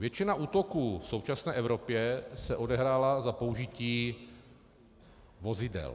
Většina útoků v současné Evropě se odehrála za použití vozidel.